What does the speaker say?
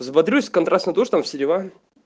взбодрюсь контрастный душ там все дела